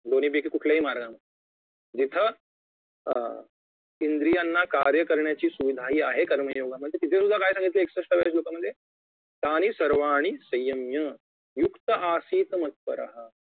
दोन्ही पैकी कुठल्याही मार्गाने जिथं अं इंद्रियांना कार्य करण्याची सुविधा हि आहे कर्मयोगामध्ये तिथे सुद्धा काय सांगितलंय एकसष्ठव्या श्लोकामध्ये तानी सर्वाणि संयम्य युक्त आसित मत्परः